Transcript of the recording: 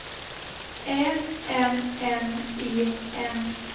Ä M N E N